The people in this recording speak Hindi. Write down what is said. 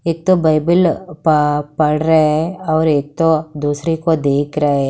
एक तो बाईबिल पढ़ रहे हैं और एक तो दूसरे को देख रहा है।